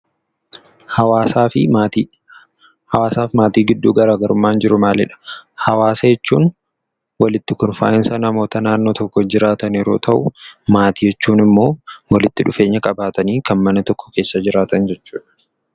Hawaasaa fi Maatii Hawaasaa fi maatii gidduu garaagarumaan jiru maali dha? Hawaasa jechuun walitti kurfaa'iinsa namoota naannoo tokko jiraatan yeroo ta'u, maatii jechuun immoo walitti dhufeenya qabaatanii kan mana tokko keessa jiraatan jechuu dha.